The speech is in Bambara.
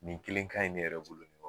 Nin kelen ka ɲi ne yɛrɛ bolo